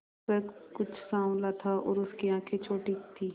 वह कुछ साँवला था और उसकी आंखें छोटी थीं